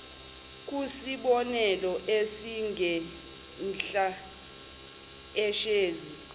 kusibonelo esingenhla ishezi